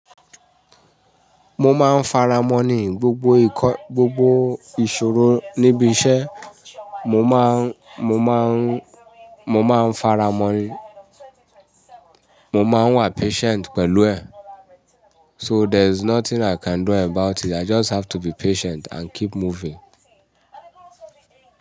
Mo máa ń faramọ̀ ní gbogbo ìkọ́, gbogbo ìṣòro níbi iṣẹ́. Mo máa ń, mo máa ń, mo máa ń faramọ̀ ní, mo máa ń wà patient pẹ̀lú ẹ̀. So there's nothing i can do about it. I just have to be patient and keep moving.